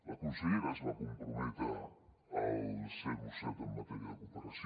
la consellera es va comprometre al zero coma set en matèria de cooperació